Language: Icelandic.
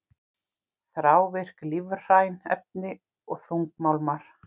Þrávirk lífræn efni og þungmálmar